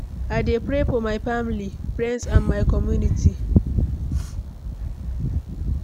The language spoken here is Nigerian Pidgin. i dey pray for my family, friends and my community.